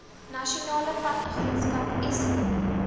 nasionale padagenskap eskom